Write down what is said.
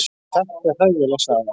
Og þetta er hræðileg saga.